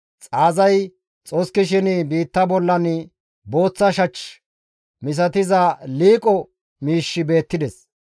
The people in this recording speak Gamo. Xaazay xoskishin biitta bollan booththa shach misatiza liiqo miishshi beettides.